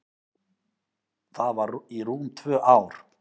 Það var í rúm tvö ár.